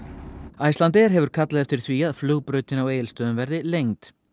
Icelandair hefur kallað eftir því að flugbrautin á Egilsstöðum verði lengd